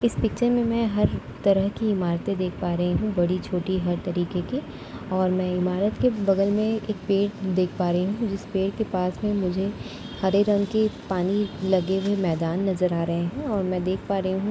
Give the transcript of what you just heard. इस पिक्चर में मैं हर तरह की इमारतें देख पा रही हूं बड़ी छोटी हर तरीके के और मैं इमारत के बगल में एक पेड़ देख पा रही हूं। जिस पेड़ के पास में मुझे हरे रंग के पानी लगे हुए मैदान नजर आ रहे हैं और मैं देख पा रही हूं।